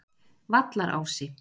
Vallarási